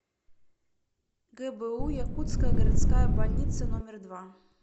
гбу якутская городская больница номер два